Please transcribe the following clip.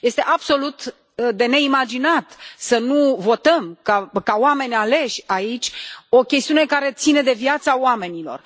Este absolut de neimaginat să nu votăm, ca oameni aleși aici, o chestiune care ține de viața oamenilor.